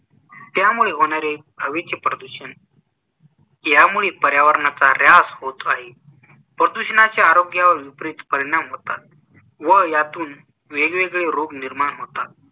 त्यामुळे होणारे हवेचे प्रदूषण यामुळे पर्यावरणाचा ऱ्हास होत आहे. प्रदूषणाचे आरोग्यावर विपरीत परिणाम होतात. व यातून वेगवेगळे रोग निर्माण होतात